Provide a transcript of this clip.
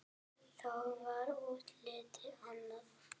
Þá var útlitið annað.